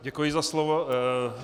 Děkuji za slovo.